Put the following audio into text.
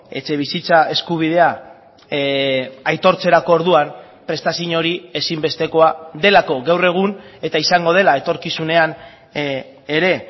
etxebizitza eskubidea aitortzerako orduan prestazio hori ezinbestekoa delako gaur egun eta izango dela etorkizunean ere